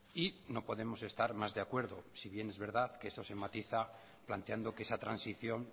y no podemos estar más de acuerdo si bien es verdad que se somatiza planteando que esa transición